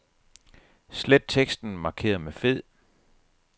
Slet teksten markeret med fed.